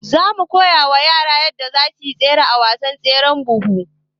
zamu koyawa yaran yadda zasuyi nasara a wasan tseren buhu